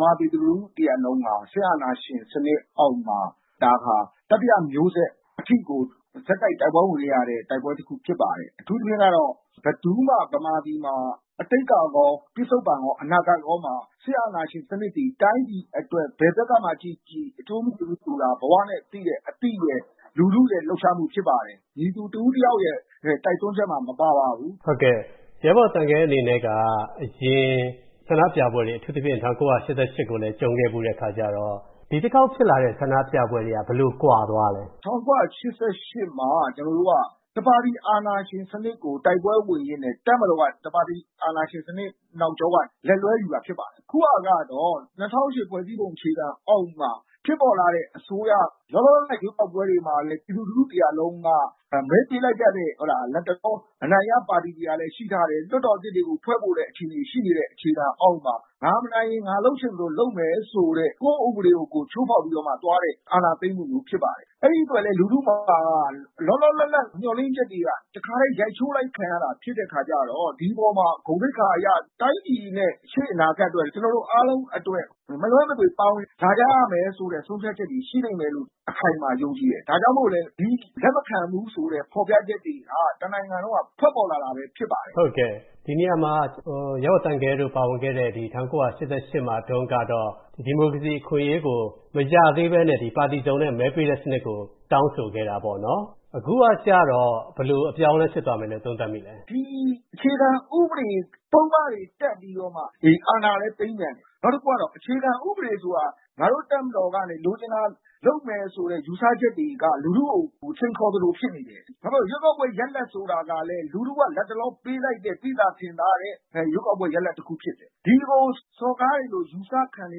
မာ ပြည်သူ လူထု တရပ်လုံးဟာ စစ်အာဏာရှင် စနစ်အောက်မှာ ဒါဟာ တတိယ မျိုးဆက် အထိကို ဆက်တိုက် တိုက်ပွဲဝင်ခဲ့ရတဲ့ တိုက်ပွဲ တခု ဖြစ်ပါတယ်။ အထူးသဖြင့်ကတော့ ဘယ်သူမှ ဗမာပြည်မှာ အတိတ်ကကော၊ ပစ္စုပ္ပန်ကော၊ အနာဂတ်ကောမှာ စစ်အာဏာရှင် စနစ်သည် တိုင်းပြည်အတွက် ဘယ်ဘက်ကမှ ကြည့်ကြည့် အကျိုးမရှိဘူးဆိုတာ ဘဝနဲ့သိတဲ့ အသိရဲ့ လူထုရဲ့ လှုပ်ရှားမှု ဖြစ်ပါတယ်။ မည်သူ တစ်ဦးတယောက်ရဲ့ တိုက်တွန်းချက်မှ မပါပါဘူး” ဟုတ်ကဲ့၊ ရဲဘော် သံခဲ အနေနဲ့က အရင် ဆန္ဒပြပွဲတွေ အထူးသဖြင့် ၁၉၈၈ ကိုလည်း ကြုံခဲ့ဖူးတဲ့ အခါကျတော့ ဒီတခေါက် ဖြစ်လာတဲ့ ဆန္ဒပြပွဲတွေဟာ ဘယ်လို ကွာသွားလဲ။ “၁၉၈၈ မှာ ကျွန်တော်တို့က တပါတီ အာဏာရှင်စနစ်ကို တိုက်ပွဲ ဝင်ရင်းနဲ့ တပ်မတော်က တပါတီ စနစ် အာဏာရှင် စနစ် နောက်ကျောကနေ လက်လွှဲယူတာ ဖြစ်ပါတယ်။ အခုဟာကတော့ ၂၀၀၈ ဖွဲ့စည်းပုံ အခြေခံ အောက်က ဖြစ်ပေါ်လာတဲ့ အစိုးရ လောလောဆယ် ရွေးကောက်ပွဲတွေမှာလည်း ပြည်သူလူထု တရပ်လုံးက မဲပေးလိုက်ကြတဲ့ လတ်တလော အနိုင်ရ ပါတီတွေကလည်း ရှိကြတယ်။ လွှတ်တော် အသစ်တွေကို ဖွဲ့ဖို့လည်း ရှိနေတဲ့ အခြေခံ အောက်မှာ ငါမနိုင်ရင် ငါလုပ်ချင်သလို လုပ်မယ်ဆိုတဲ့ ကိုယ့် ဥပဒေကို ကိုယ် ချိုးဖောက်ပြီးတော့မှ သွားတဲ့ အာဏာသိမ်းမှုမျိုး ဖြစ်ပါတယ်။ အဲဒီ အတွက်လည်း လူထု တရပ်လုံးက လောလော လတ်လတ် မျှော်လင့်ချက်တွေက တခါတည်း ရိုက်ချိုးခံလိုက်ရတဲ့ဟာ ဖြစ်လေတော့ ဒီ အပေါ်မှာ ဂုဏ် သိက္ခာ အရ တိုင်းပြည်နဲ့ ရှေ့ အနာဂတ်အတွက် ကျွန်တော်တို့ အားလုံးအတွက် မလွဲမသွေ ပါဝင် လာကြရမယ် ဆိုတဲ့ ဆုံးဖြတ်ချက်တွေ ရှိလိမ့်မယ်လို့ အခိုင်အမာ ယုံကြည်တယ်။ ဒါကြောင့်မို့လည်း ဒီ လက်မခံဘူးဆိုတဲ့ ဖော်ပြချက်တွေက တနိုင်ငံလုံးမှာ ထွက်ပေါ်လာတာလည်း ဖြစ်ပါတယ်။” ဟုတ်ကဲ့။ ဒီနေရာမှာ ရဲဘော် သံခဲတို့ ပါဝင်ခဲ့တဲ့ ၁၉၈၈ မှာတုန်းကတော့ ဒီမိုကရေစီ အခွင့်အရေးကို မရသေးဘဲနဲ့ ပါတီစုံနဲ့ မဲပေးတဲ့စနစ်ကို တောင်းဆိုခဲ့တာပေါ့နော်။ အခုကကျတော့ ဘယ်လို အပြောင်းအလဲ ဖြစ်သွားမယ်လို့ သုံးသပ်မိပါသလဲ။ “ဒီ အခြေခံ ဥပဒေ ပုဒ်မတွေ တပ်ပြီးတော့မှ အာဏာလည်း သိမ်းပြန်တယ်။ နောက်တခုကတော့ အခြေခံ ဥပဒေဆိုတာ ငါတို့ တပ်မတော်က လိုချင်တာလုပ်မယ်ဆိုတဲ့ ယူဆချက်တွေက လူထုကို စိန်ခေါ်သလို ဖြစ်နေတယ်။ ဘာဖြစ်လို့လဲဆိုတော့ ရွေးကောက်ပွဲ ရလဒ်ဆိုတာကလည်း လူထုက လတ်တလော ပေးလိုက်တဲ့ သိသာ ထင်သာတဲ့ ရွေးကောက်ပွဲ ရလဒ် တခု ဖြစ်တယ်။ ဒါကို စော်ကားခံရတယ်လို့ ယူဆခံရနေ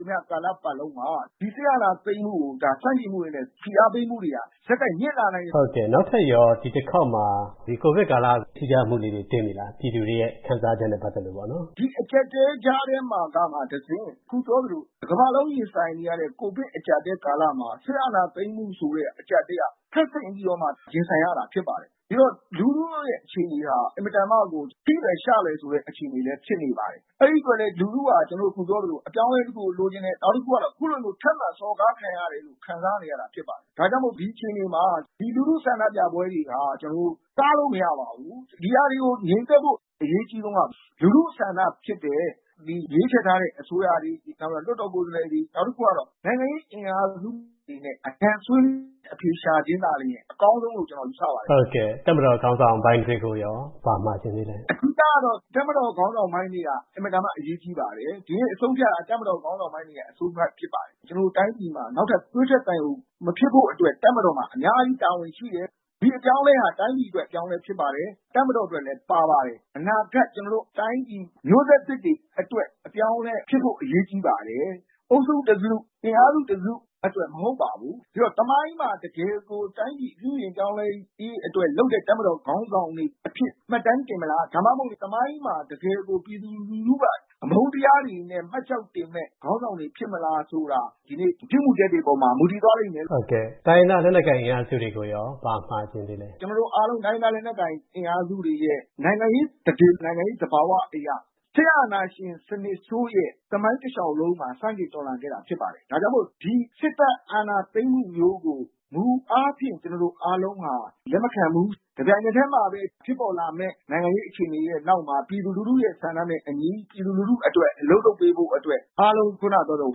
သမျှ ကာလတခုလုံးမှာ ဒီ စစ်အာဏာသိမ်းမှုကို ဒါ ဆန့်ကျင်မှုတွေနဲ့ ဖိအားပေးမှုတွေဟာ ဆက်တိုက် မြင့်လာနိုင်ပါတယ်” ဟုတ်ကဲ့။ နောက်ထပ်ရော ဒီ တစ်ခေါက်မှာ ကိုဗစ်ကာလ ထူးခြားမှုကလေးတွေ တွေ့သလား။ ပြည်သူတွေရဲ့ ခံစားချက်နဲ့ ပတ်သက်လို့ပေါ့နော်။ “ဒီ အကြပ်အတည်းကြားထဲကမှ တဆင့် အခု ပြောသလို တကမ္ဘာလုံး ရင်ဆိုင်နေကြတဲ့ ကိုဗစ် အကြပ်အတည်း ကာလမှာ စစ်အာဏာ သိမ်းမှုဆိုတဲ့ အကြပ်အတည်းက ထပ်ဆင့်ပြီးတော့မှ ရင်ဆိုင်ရတာ ဖြစ်ပါတယ်။ ဒီတော့ လူထုရဲ့ အခြေအနေဟာ အင်မတန်မှကို ထိလွယ်ရှလွယ်ဆိုတဲ့ အခြေအနေ ဖြစ်နေပါတယ်။ အဲဒီ အတွက်လည်း လူထုက အပြောင်းအလဲ တခုကို လိုချင်တယ်။ ထပ်မံ စော်ကား ခံရတယ်လို့ ခံစားနေရတာ ဖြစ်ပါတယ်။ ဒါကြောင့်မို့ ဒီ အခြေအနေမှာ ဒီ လူထု ဆန္ဒပြပွဲတွေဟာ ကျွန်တော်တို့ တားလို့ မရပါဘူး။ ဒီဟာတွေကို ငြိမ်သက်ဖို့ အရေးအကြီးဆုံးက လူထု ဆန္ဒဖြစ်တဲ့ ဒီရွေးချယ်ထားတဲ့ အစိုးရတွေ၊ လွှတ်တော် ကိုယ်စားလှယ်တွေ၊ နောက်တခုကတော့ နိုင်ငံရေး အင်အားစုတွေနဲ့ ဆွေးနွေး အဖြေရှာခြင်းသာ လျှင် အကောင်းဆုံးလို့ ကျွန်တော် ယူဆပါတယ်” ဟုတ်ကဲ့။ တပ်မတော် ခေါင်းဆောင်ပိုင်းတွေက ကိုရော ဘာမှာချင်သေးသလဲ။ “အဓိကကတော့ တပ်မတော် ခေါင်းဆောင်ပိုင်းတွေဟာ အင်မတန်မှ အရေးကြီးပါတယ်။ ဒီကနေ့ အဆုံးအဖြတ်က တပ်မတော် ခေါင်းဆောင်ပိုင်းတွေရဲ့ အဆုံးအဖြတ် ဖြစ်ပါတယ်။ ကျွန်တော်တို့ တိုင်းပြည်မှာ နောက်ထပ် သွေးထွက်သံယို မဖြစ်ဖို့အတွက် တပ်မတော်မှာ အများကြီး တာဝန်ရှိတယ်။ ဒီအပြောင်းအလဲဟာ တိုင်းပြည် အတွက် အပြောင်းအလဲ ဖြစ်ပါတယ်။ တပ်မတော် အတွက်လည်း ပါပါတယ်။ အနာဂတ် ကျွန်တော်တို့ တိုင်းပြည် မျိုးဆက်သစ်တွေ အတွက် အပြောင်းအလဲ ဖြစ်ဖို့ အရေးကြီးပါတယ်။ အုပ်စုတစု၊ အင်အားစု တစု အတွက် မဟုတ်ပါဘူး။ ဒီတော့ သမိုင်းမှာ တကယ်ကို တိုင်းပြည် ပြုပြင်ပြောင်းလဲရေး အတွက် လုပ်တဲ့ တပ်မတော် ခေါင်းဆောင်တွေ အဖြစ် မှတ်တမ်း တင်မလား ဒါမှမဟုတ် သမိုင်းမှာ တကယ်ကို ပြည်သူလူထုက အမုန်းတရားတွေနဲ့ မှတ်ကျောက်တင်မယ့် ခေါင်းဆောင်တွေ ဖြစ်မလား ဆိုတာ ဒီနေ့ ပြုမူချက်တွေပေါ်မှာ မူတည်သွားလိမ့်မယ်” ဟုတ်ကဲ့။ တိုင်းရင်းသား လက်နက်ကိုင် အင်အားစုတွေကိုရော ဘာမှာချင်သေးလဲ။ “ကျွန်တော်တို့ အားလုံး တိုင်းရင်းသား လက်နက်ကိုင် အင်အားစုတွေရဲ့ နိုင်ငံရေး သန္ဓေ၊ နိုင်ငံရေး သဘာဝတွေအရ စစ်အာဏာရှင် စနစ်ဆိုးရဲ့ သမိုင်းတစ်လျှောက်လုံးမှာ ဆန့်ကျင် တော်လှန်လာခဲ့တာ ဖြစ်ပါတယ်။ ဒါကြောင့်မို့ ဒီ စစ်တပ် အာဏာသိမ်းမှုမျိုးကို မူအားဖြင့် ကျွန်တော်တို့ အားလုံးဟာ လက်မခံဘူး။ တစ်ပြိုင်နက်တည်းမှာပဲ ဖြစ်ပေါ်လာမယ့် နိုင်ငံရေး အခြေအနေရဲ့ နောက်မှာ ပြည်သူလူထုရဲ့ ဆန္ဒနဲ့ အညီ ပြည်သူ လူထု အတွက် အလုပ်လုပ်ပေးဖို့အတွက် အားလုံး ခုနက ပြောသလို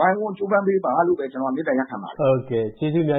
ဝိုင်းဝန်း ကြိုးပမ်းပေးပါလို့ပဲ ကျွန်တော် မေတ္တာ ရပ်ခံချင်ပါတယ်။ ဟုတ်ကဲ့။ ကျေးဇူး အများ